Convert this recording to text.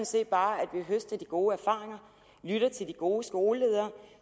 set bare at vi høster de gode erfaringer lytter til de gode skoleledere